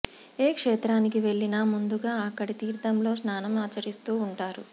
ఏ క్షేత్రానికి వెళ్లినా ముందుగా అక్కడి తీర్థంలో స్నానం ఆచరిస్తూ వుంటారు